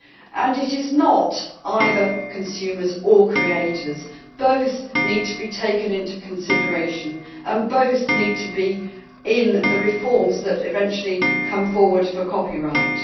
And it is not consumers creators both need to be taken into consideration and both need to be in the reforms that eventually come forward for copyright.